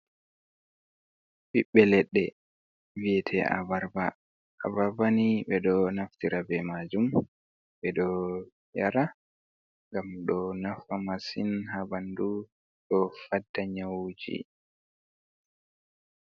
Ɓiɓɓe leɗɗe vi'ete Abarba. Abarba ni ɓe ɗo naftira be majum ɓe ɗo yara ngam ɗo nafa masin ha ɓandu ɗo fadda nyawuji.